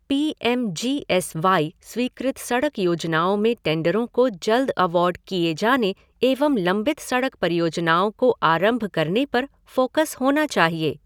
P M G S Y स्वीकृत सड़क योजनाओं में टेंडरों को जल्द अवार्ड किए जाने एवं लंबित सड़क परियोजनाओं को आरंभ करने पर फ़ोकस होना चाहिए।